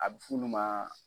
A bɛ f'ulu ma